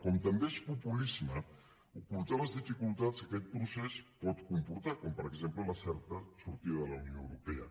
com també és populisme ocultar les dificultats que aquest procés pot comportar com per exemple la certa sortida de la unió europea